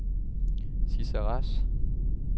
Sidse Rasch